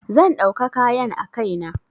Zan ɗauka kayan a kai na.